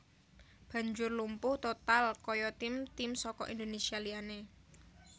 banjur lumpuh total kaya tim tim saka Indonésia liyane